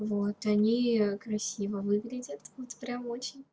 вот они красиво выглядят вот прямо очень